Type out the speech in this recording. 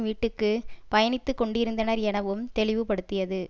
வீட்டுக்கு பயணித்துக்கொண்டிருந்தனர் எனவும் தெளிவுபடுத்தியது